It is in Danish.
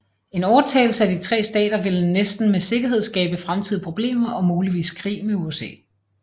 En overtagelse af de tre stater ville næsten med sikkerhed skabe fremtidige problemer og muligvis krig med USA